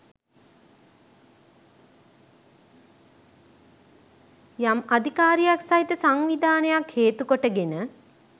යම් අධිකාරියක් සහිත සංවිධානයක් හේතු කොටගෙන